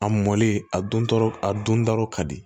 A mɔlen a don tɔɔrɔ a dontɔla ka di